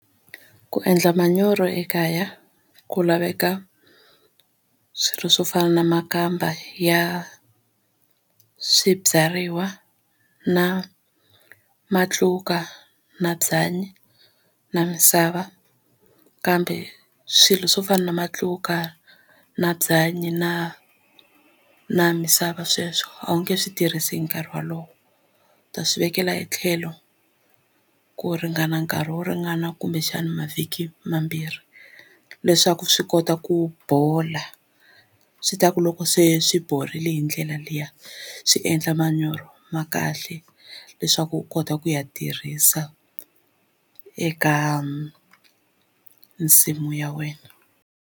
Ku endla manyoro ekaya ku laveka swilo swo fana na makamba ya swibyariwa na matluka na byanyi na misava kambe swilo swo fana na matluka na byanyi na na misava sweswo a wu nge swi tirhisi hi nkarhi wolowo u ta swi vekela hi tlhelo a ku ringana nkarhi wo ringana kumbexana mavhiki mambirhi leswaku swi kota ku bola swi ta ku loko se swi borile hi ndlela leyo a swi endla manyoro ma kahle leswaku u kota ku ya tirhisa eka nsimu ya wena.